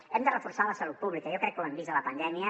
hem de reforçar la salut pública jo crec que ho hem vist a la pandèmia